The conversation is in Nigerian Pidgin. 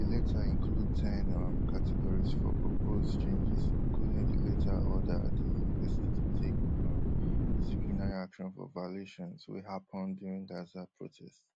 di letter include ten um categories for proposed changes including di letter order di university to take um disciplinary action for violations wey happun during gaza protests